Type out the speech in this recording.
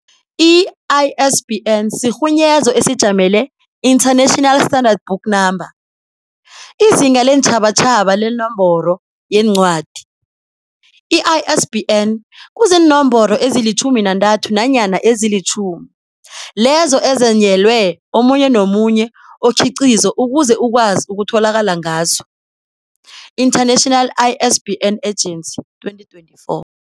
I-ISBN sirhunyezo esijamele International Standard Book Number, IZinga leenTjhabatjhabatjha leNomboro yeNcwadi. I-ISBN kuziinomboro ezilutjhumi nantatho nanyana ezilutjhumi lezo ezenyelwe omunye nomunye okhiqizo ukuze ukwazi ukutholakala ngazo International ISBN Agency 2024.